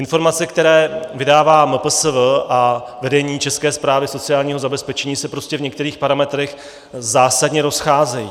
Informace, které vydává MPSV a vedení České správy sociálního zabezpečení, se prostě v některých parametrech zásadně rozcházejí.